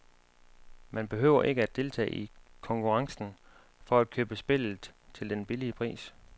Man behøver ikke at deltage i konkurrencen for at købe spillet til den billige pris.